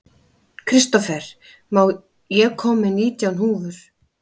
Kristófer, ég kom með nítján húfur!